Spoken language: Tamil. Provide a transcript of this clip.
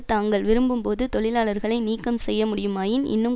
தாங்கள் விரும்பும்போது தொழிலாளர்களை நீக்கம் செய்ய முடியுமாயின் இன்னும்